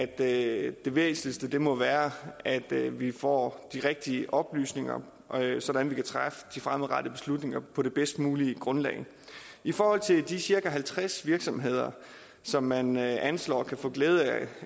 det væsentligste må være at vi får de rigtige oplysninger sådan at vi fremadrettet beslutninger på det bedst mulige grundlag i forhold til de cirka halvtreds virksomheder som man anslår kan få glæde af